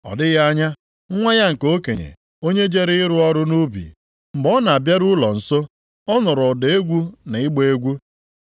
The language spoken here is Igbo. “Ọ dịghị anya, nwa ya nke okenye, onye jere ịrụ ọrụ nʼubi, mgbe ọ na-abịaru ụlọ nso, ọ nụrụ ụda egwu na ịgba egwu.